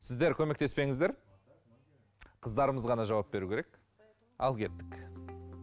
сіздер көмектеспеңіздер қыздарымыз ғана жауап беру керек ал кеттік